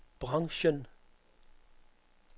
branchen